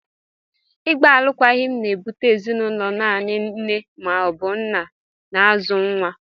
Ịgba alụkwaghịm na-ebute ezinụlọ naanị nne ma ọ bụ nna na-azụ nwa.